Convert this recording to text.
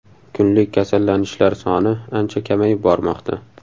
Kunlik kasallanishlar soni ancha kamayib bormoqda.